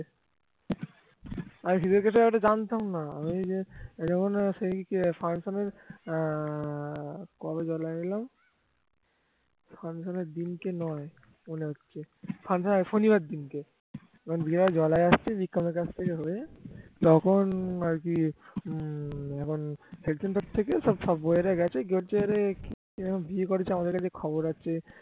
তখন আর কি হম এখান থেকে সব বউয়েরা গেছে গিয়ে বলছে কিরে বিয়ে করেছিস আমাদের কাছে খবর আছে